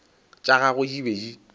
tša gagwe di be di